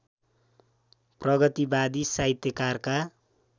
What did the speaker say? प्रगतिवादी साहित्यकारका